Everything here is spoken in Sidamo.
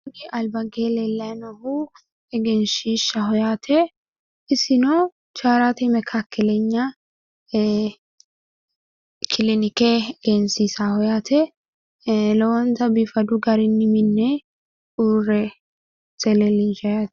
Kini albankeenni leellayi noohu egensiishaho yaate isino charati mekaakkelenya kilinikke egensiisaaho yaate lowonta biifadu garinni minne uurrinse leellinshshanniho.